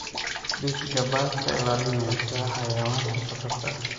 Dhis gabaad ka ilaalinaysa xayawaanka khatarta ah.